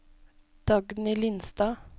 Dagny Lindstad